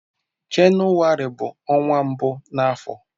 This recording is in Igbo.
Jenụwarị bụ ọnwa mbụ na afọ.